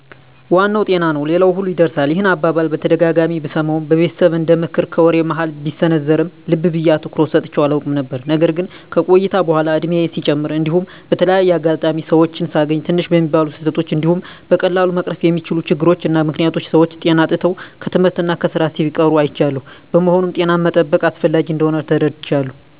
" ዋናው ጤና ነው ሌላው ሁሉ ይርሳል። " ይህን አባባል በተደጋጋሚ ብሰማውም በቤተሰብ እንደምክር ከወሬ መሀል ቢሰነዘርም ልብ ብየ አትኩሮት ሰጥቸው አላውቅም ነበር። ነገር ግን ከቆይታ በኃላ እድሜየም ሲጨምር እንዲሁም በተለያየ አጋጣሚ ሰወችን ሳገኝ ትንሽ በሚባሉ ስህተቶች እንዲሁም በቀላሉ መቀረፍ በሚችሉ ችግሮች እና ምክኒያቶች ሰወች ጤና አጥተው ከትምህርት እና ከስራ ሲቀሩ አይቻለሁ። በመሆኑም ጤናን መጠበቅ አስፈላጊ እንደሆን ተረድቻለሁ።